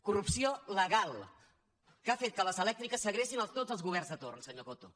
corrupció legal que ha fet que les elèctriques segrestin tots els governs de torn senyor coto